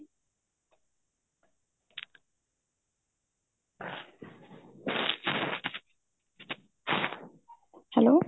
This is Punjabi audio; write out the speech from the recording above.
hello